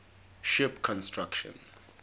ship construction